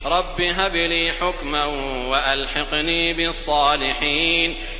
رَبِّ هَبْ لِي حُكْمًا وَأَلْحِقْنِي بِالصَّالِحِينَ